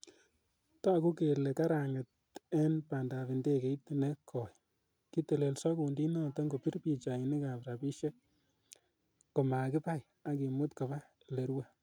Togu kele karanget en bandab indegeit ne koi, kitelelso kundinoton kopir pichainik ak shabikishiek komakibai ak kimut koba ele rue.